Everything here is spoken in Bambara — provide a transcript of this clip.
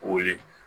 Wuli